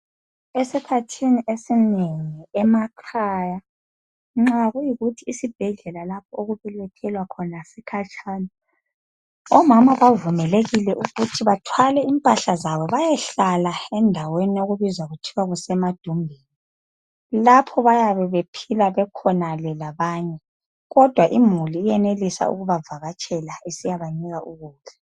Esikhathini esinengi emakhaya nxa kuyikuthi isibhedlela lapho okubelethelwa khona sikhatshana omama bavumelekile ukuthi bathwale impahla zabo bayehlala endaweni okubizwa kuthiwa kusemadumbeni , lapho bayabe bephila bekhonale labanye kodwa imuli yenelisa ukubavakatsele isiyabanika ukudla.